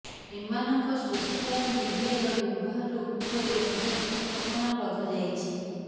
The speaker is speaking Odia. ଏମାନଙ୍କ ସୋସିଆଲ ମିଡିଆର ବ୍ୟବହାର ଉପରେ ମଧ୍ୟ କଟକଣା ଲଗା ଯାଇଛି